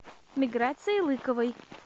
миграции лыковой